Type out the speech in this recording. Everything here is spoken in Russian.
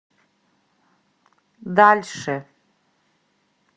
дальше